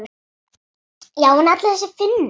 Já en allir þessir Finnar.